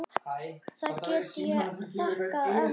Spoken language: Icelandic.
Það get ég þakkað ömmu.